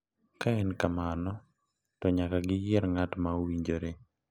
Ka en kamano, to nyaka giyier ng’at ma owinjore .